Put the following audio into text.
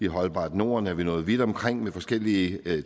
holdbart norden er vi nået vidt omkring med forskellige